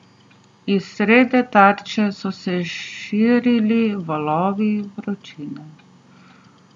Iz srede tarče so se širili valovi vročine.